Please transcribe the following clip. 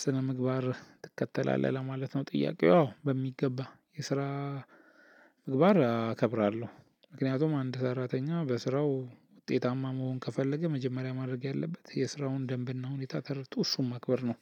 ስነ ምግባር ትከተላለህ ለማለት ነው ጥያቄው? አዎ በሚገባ የስራ ምግባር አከብራለሁ። ምክንያቱም አንድ ሰራተኛ በስራው ውጤታማ መሆን ከፈለገ መጀመሪያ ማድረግ ያለበት የስራውን ደንብና ሁኔታ ተርድቶ እሱን ማክበር ነው።